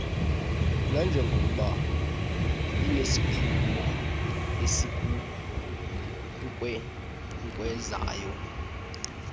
nanjengokuba inesiphumo esikunkcenkcezayo